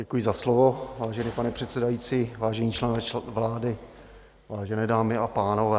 Děkuji za slovo, vážený pane předsedající, vážení členové vlády, vážené dámy a pánové.